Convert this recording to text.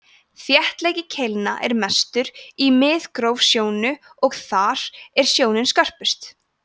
þéttleiki keilna er mestur í miðgróf sjónu og þar er sjónin skörpust